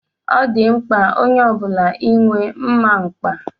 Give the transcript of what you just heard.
Ọ dị mkpa onye ọbula inwe mma mkpa.